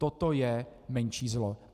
Toto je menší zlo.